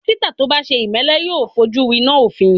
Dọ́kítà tó bá ṣe ìmẹ́lẹ́ yóò fojú winá òfin.